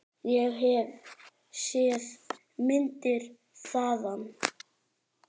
Ég hef séð myndir þaðan.